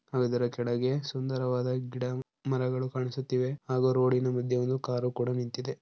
ಅದರ ಕೆಳಗೆ ಸುಂದರವಾದ ಗಿಡ ಮರಗಳು ಕಾಣಿಸುತ್ತಿವೆ ಹಾಗೂ ರೋಡಿನ ಮಧ್ಯೆಯ ಒಂದು ಕಾರು ಕೂಡ ನಿಂತಿದೆ.